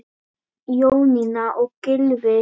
Jónína og Gylfi.